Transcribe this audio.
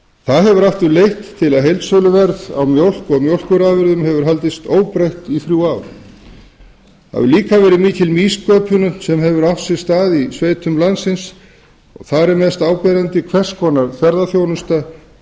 það hefur aftur leitt til þess að heildsöluverð á mjólk og mjólkurafurðum hefur haldist óbreytt í þrjú ár mikil nýsköpun hefur einnig átt sér stað í sveitum landsins mest áberandi er hvers konar ferðaþjónusta